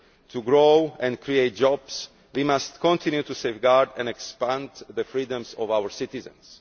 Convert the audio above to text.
To grow and create jobs we must continue to safeguard and expand the freedoms of our citizens.